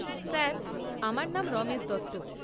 Sir, আমার নাম রমেশ দত্ত।